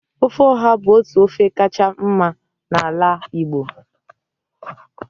ofe oha bu otu ofe kacha mma na ala Igbo